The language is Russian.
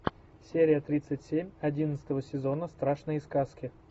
серия тридцать семь одиннадцатого сезона страшные сказки